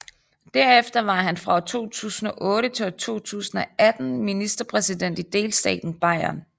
Derefter var han fra 2008 til 2018 ministerpræsident i delstaten Bayern